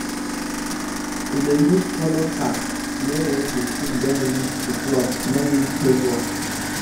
e dey use colour card know when the thing don reach to pluck no need guess work